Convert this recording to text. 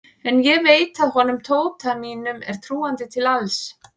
En ég veit að honum Tóta mínum er trúandi til alls.